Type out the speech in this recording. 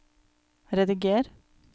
rediger